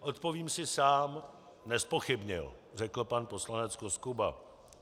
Odpovím si sám - nezpochybnil, řekl pan poslanec Koskuba.